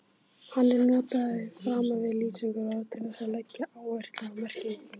Hann er notaður framan við lýsingarorð til þess að leggja áherslu á merkinguna.